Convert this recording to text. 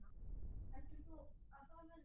Heldur þú að það verði?